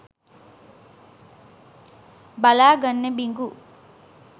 බලා ගන්න බිඟු.